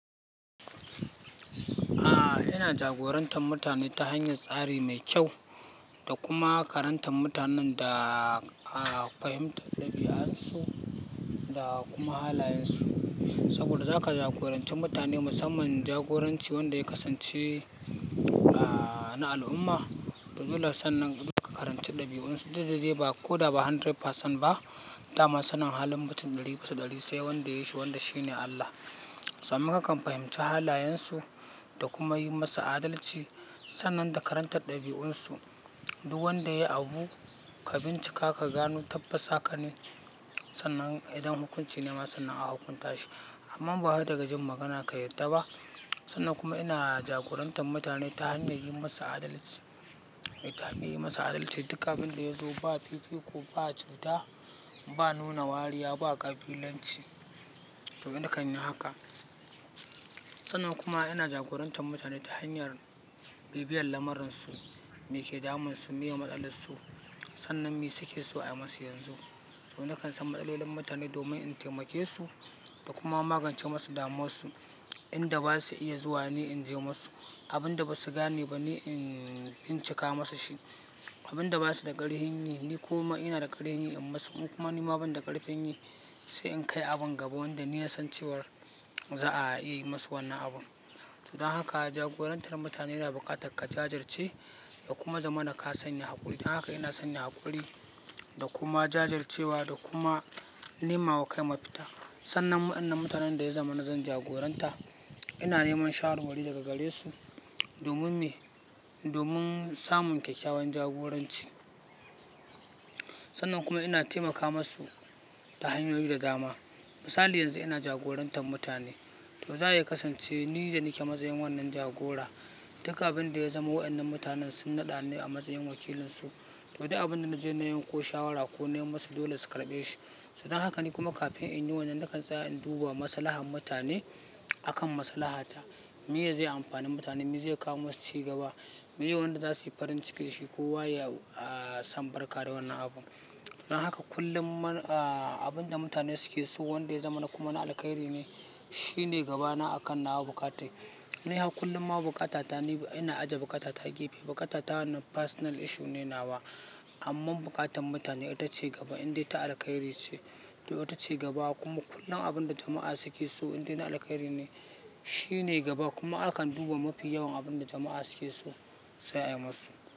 Ina jagorantar mutane ta hanyar tsari mai kyau da kuma karantar mutanen da fahimtar ɗabi'arsu da kuma halayensu. Saboda za ka jagoranci mutane musamman jagoranci wanda ya kasance na al'umma. To dole sannin duk ka karanta ɗabi'unsu, duk da dai ko da ba 100% ba. Dama sanin halin mutum ɗari bisa ɗari sai wanda ya yi shi wanda shi ne Allah. Sannan na kan fahimci halayensu da kuma yi masa adalci sannan da karantar ɗabi'unsu. Duk wanda ya yi abu, ka bincika ka gano tabbas hakan ne. Sannan idan hukunci ne ma sannan a hukunta shi. Amma ba wai daga jin magana ka yadda ba. Sannan kuma ina jagorantar mutane ta hanyar yi masu adalci, mutane yi masu adalci. Duka abin da ya zo ba fifiko ba cuta ba nuna wariya ba ƙabilanci. To nakan yi haka. Sannan kuma ina jagorantar mutane ta hanyar bibiyar lamarin su me ke damun su, me ya matsalar su. Sannan me suke so a yi musu yanzu. Sannan nakan san matsalolin mutane domin in taimake su da kuma magance masu damuwar su. Inda ba su iya zuwa ne in je masu, abin da ba su gane ba ne in, in cika masu shi. Abin da ba su da ƙarfin yi ni kuma ina da ƙarfin yi in masu. Kuma ni ma ban da ƙarfin yi sai in kai abin gaba wanda ni na san cewa za'a iya yi masa wannan abun. To don haka jagorantar mutane da bukatar ka jajirce da kuma zama na ka sanya haƙuri. Don haka ina sanya haƙuri da kuma jajircewa da kuma nema wa kai mafita. Sannan wannan mutanen da ya zama na zan jagoranta, ina neman shawarwari daga gare su domin me, domin samun kyakkyawan jagoranci. Sannan kuma ina taimaka masu ta hanyoyi da dama. Misali yanzu ina jagorantar mutane to zaya kasance ni da nake a matsayin wannan jagora. Duka abin da ya zama waɗannan mutanen sun naɗa ni a matsayin wakilinsu. To duk abin da naje na yi ko shawara ko na yi masu dole su karɓe shi. Don haka ni kuma kafin in yi wannan nakan tsaya in duba maslahar mutane. Akan maslahata. Meye zai amfani mutane, me zai kawo masu cigaba. Me wanda za su yi farin ciki shi ko wa yayi sam barka da wannan abun. Don haka kullum, abin da mutane suke so wanda ya zama na kuma na alkhairi ne, shi ne gabana a kan nawa bukata. Ni har kullum ma bukata ta, ina ajiye bukata ta gefe. Bukata ta wannan personal issue ne nawa. Amma buƙatan mutane ita ce gaba indai ta alkhairi ce. To ita ce gaba kuma kullum abin da jama'a suke so indai na alkhairi ne, shi ne gaba kuma akan duba mafi yawan abin da jama'a suke so sai a yi musu.